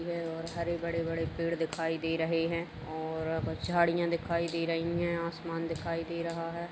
यह और हरे बड़े -बड़े पेड़ दिखाई दे रहे है और झाड़ियां दिखाई दे रही हैं आसमान दिखाई दे रहा है।